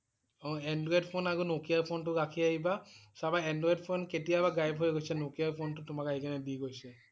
অ' android phone আৰু nokia ফোনটো ৰাখি আহিবা, চাবা android ফোন কেতিয়াবাই gayab হৈ গৈছে, Nokia ফোন টো তোমাক আহি কেনে দি গৈছে